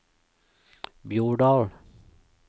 Bjordal